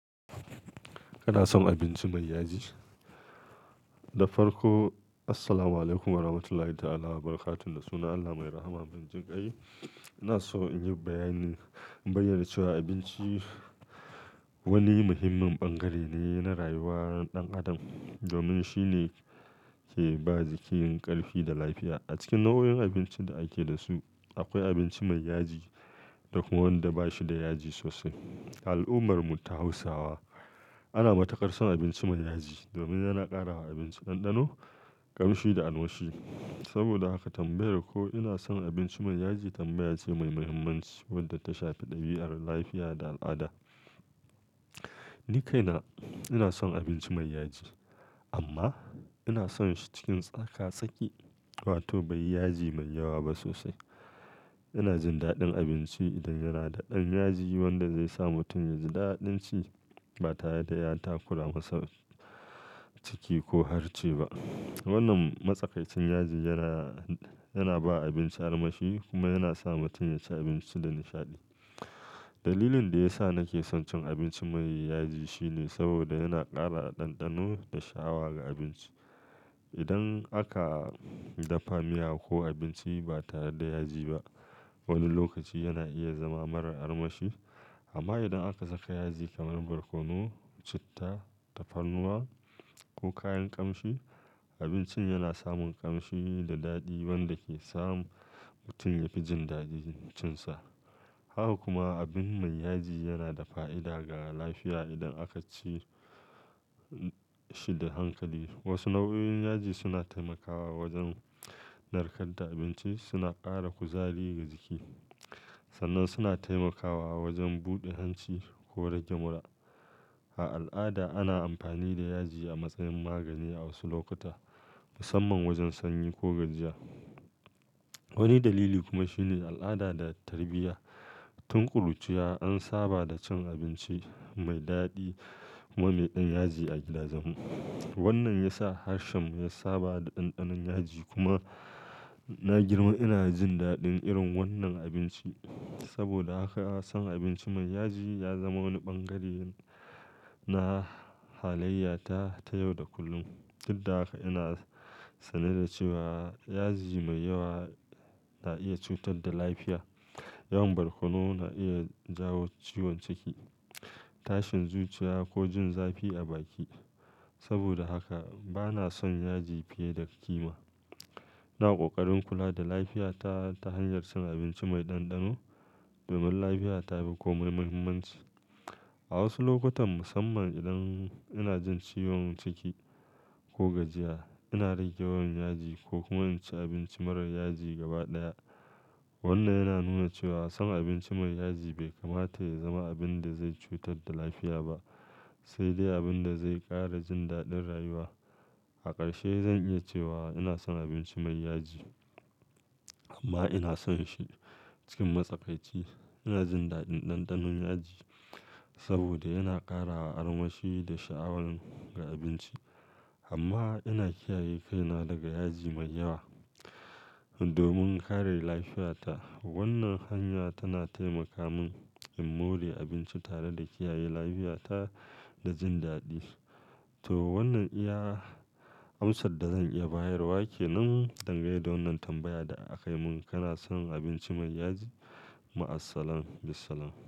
Kana son abinci mai yaji? Da farko, assalamualaikum warahmatullahi ta'ala wabarakatun. Da sunan Allah mai rahama, mai jin kai. Ina so in yi bayanin, in bayyana cewa abinci wani muhimmin bangare ne na rayuwar ɗan adam domin shine ke ba jiki ƙarfi da lafiya. A cikin nau'o'in abincin da ake da su, akwai abinci mai yaji da kuma wanda ba shi da yaji sosai. Al'ummar mu ta Hausawa, ana matukar son abinci mai yaji domin yana ƙara wa abinci ɗanɗano, ƙamshi da armashi. Saboda haka tambayar ko ina son abinci mai yaji tambaya ce mai mahimmanci wadda ta shafi ɗabi'ar lafiya da al'ada. Ni kaina ina son abinci mai yaji amma ina son shi cikin tsaka-tsaki, wato bai yi yaji mai yawa ba sosai. Ina jin daɗin abinci idan yana da ɗan yaji wanda zai sa mutum yaji daɗin ci ba tare da ya takura masa ciki ko harce ba. Wannan matsakaicin yaji yana, yana ba abinci armashi kuma yana sa mutum ya ci abinci da nishaɗi. Dalilin da ya sa nake son cin abinci mai yaji shine saboda yana ƙara ɗanɗano da sha'awa ga abinci. Idan aka dafa miya ko abinci ba tare da yaji ba, wani lokaci yana iya zama mara armashi. Amma idan aka saka yaji kamar barkono, citta, tafarnuwa ko kayan ƙamshi, abincin yana samun ƙamshi da daɗi wanda ke samu mutum yafi jin daɗin cinsa. Haka kuma, abin mai yaji yana da fa'ida ga lafiya idan aka ci shi da hankali. Wasu nau'o'in yaji suna taimakawa wajen narkar da abinci, suna ƙara kuzari ga jiki sannan suna taimakawa wajen buɗe hanci ko rage mura. A al'ada, ana amfani da yaji a matsayin magani a wasu lokuta, musamman wajen sanyi ko gajiya. Wani dalili kuma shine al'ada da tarbiyya. Tun ƙuruciya an saba da cin abinci mai daɗi kuma mai ɗan yaji a gida jen mu Wannan ya sa harshen mu ya saba da ɗanɗanon yaji kuma na girma ina jin daɗin irin wannan abinci. Saboda haka son abinci mai yaji ya zama wani bangare na halayyata ta yau da kullum. Duk da haka ina sane da cewa yaji mai yawa na iya cutar da lafiya. Yawan barkono na iya jawo ciwon ciki, tashin zuciya ko jin zafi a baki. Saboda haka bana son yaji fiye da kima. Na ƙoƙarin kula da lafiyata ta hanyar cin abinci mai ɗanɗano domin lafiya ta fi kome mahimmanci. A wasu lokutan musamman idan ina jin ciwon ciki ko gajiya, ina rage yawan yaji ko kuma in ci abinci mara yaji gaba ɗaya. Wannan yana nuna cewa son abinci mai yaji bai kamata ya zama abin da zai cutar da lafiya ba, sai dai abin da zai ƙara jin daɗin rayuwa. A ƙarshe zan iya cewa ina son abinci mai yaji amma ina son shi cikin matsakaici. Ina jin daɗin ɗanɗanon yaji saboda yana ƙara wa armashi da sha'awan ga abinci amma ina kiyaye kaina daga yaji mai yawa domin kare lafiyata. Wannan hanya tana taimaka mun in more abinci tare da kiyaye lafiyata da jin daɗi. To wannan iya amsar da zan iya bayarwa ke nan dangane da wannan tambaya da aka yi mun. Kana son abinci mai yaji? Maassalam, bissalam.